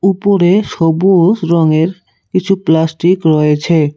উপরে সবুস রঙের কিছু প্লাস্টিক রয়েছে।